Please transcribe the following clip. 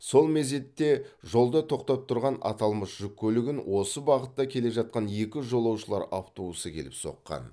сол мезетте жолда тоқтап тұрған аталмыш жүк көлігін осы бағытта келе жатқан екі жолаушылар автобусы келіп соққан